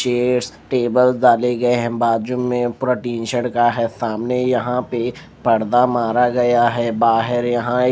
chairs table डाले गए हैं बाजू में पूरा टीशर्ट का है सामने यहाँ पे पर्दा मारा गया है बाहर यहाँ एक --